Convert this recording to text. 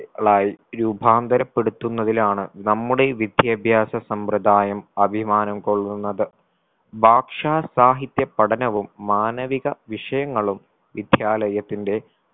ളായി രൂപാന്തരപ്പെടുത്തുന്നതിലാണ് നമ്മുടെ വിദ്യാഭ്യാസ സമ്പ്രദായം അഭിമാനം കൊള്ളുന്നത്. ഭാഷാ സാഹിത്യ പഠനവും മാനവിക വിഷയങ്ങളും വിദ്യാലയത്തിന്റെ